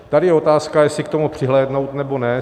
Tady je otázka, jestli k tomu přihlédnout, nebo ne.